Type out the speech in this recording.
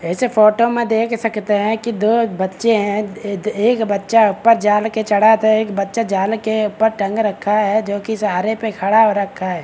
इस फोटो में देख सकते हैं की दो बच्चे हैं एक बच्चा ऊपर जाल के चढ़ा त एक बच्चा जाल के ऊपर टंग रखा है जो की सहारे पे खड़ा हो रखा है।